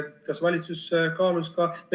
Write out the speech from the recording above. Kas valitsus kaalus ka ...